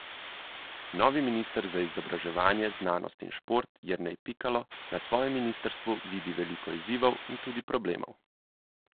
Novi minister za izobraževanje, znanost in šport Jernej Pikalo na svojem ministrstvu vidi veliko izzivov in tudi problemov.